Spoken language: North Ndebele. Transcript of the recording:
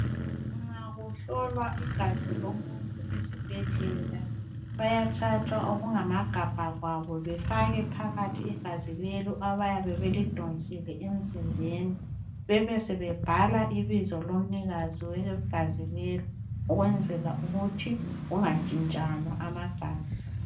Nxa kuhlolwa igazi lomuntu esibhedlela bayathatha okungamagabha kwabo befake phakathi igazi lelo abayabe belidonsile emzimbeni besebebhala ibizo lomnikazi wegazi lelo ukwenzela ukuthi kungatshintshanwa amagazi.